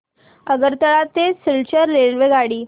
आगरतळा ते सिलचर रेल्वेगाडी